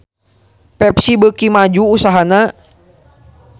Pepsi beuki maju usahana